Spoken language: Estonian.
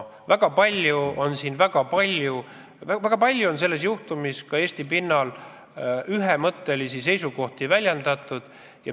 Väga palju on seoses selle juhtumiga ka Eesti pinnal ühemõttelisi seisukohti väljendatud.